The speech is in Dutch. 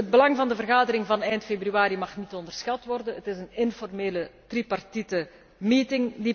Het belang van de vergadering van eind februari mag niet onderschat worden. Het is een informele tripartite bijeenkomst.